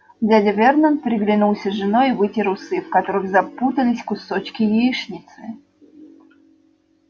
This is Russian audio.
дядя вернон переглянулся с женой и вытер усы в которых запутались кусочки яичницы